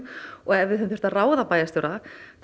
ef við hefðum þurft að ráða bæjarstjóra